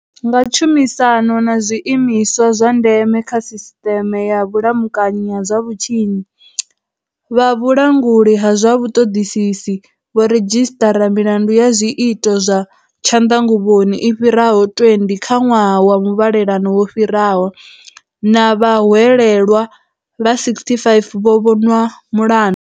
Nga tshumisano na zwi imiswa zwa ndeme kha sisṱeme ya vhulamukanyi ha zwa vhutshinyi, vha vhu languli ha zwa vhuṱoḓisisi vho redzhisiṱara milandu ya zwiito zwa tshanḓanguvhoni i fhiraho 20 kha ṅwaha wa mu vhalelano wo fhiraho na vhahwelelwa vha 65 vho vhonwa mulandu.